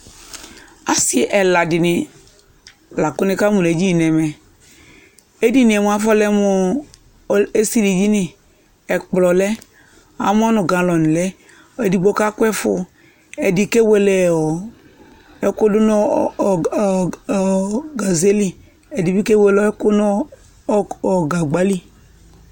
Asi ɛla di ni la kʋ nikamʋ nʋ edini nɛmɛ Edini yɛ afɔlɛ mʋ esilidini Ɛkplɔ lɛ, amɔ nʋ galɔni lɛ Ɛdigbo kakʋ ɛfoʋ, ɛdi kewele ɛkʋ dʋ nʋ ɔ gaze li, ɛdi bi kewele ɛkʋ nʋ ɔ gagba li